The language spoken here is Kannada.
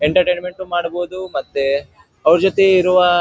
ಎಂಟರ್ಟೈನ್ಮೆಂಟ್ ಮಾಡಬಹುದು ಮತ್ತೆ ಅವ್ರ ಜೊತೆ ಇರುವ --